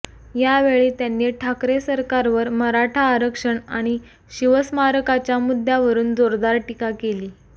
यावेळी त्यांनी ठाकरे सरकारवर मराठा आरक्षण आणि शिवस्मारकाच्या मुद्यावरून जोरदार टीका केली